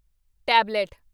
tablet